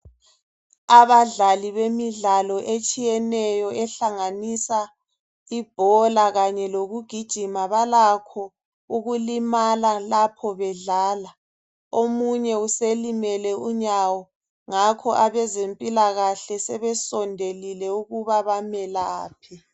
Abadlali bemidlalo etshiyeneyo ehlanganisa ibhola kanye lokugijima balakho ukulimala lapho bedlala omunye uselimele unyawo ngakho abezempilakahle sebesondelile ukuba bamelaphe.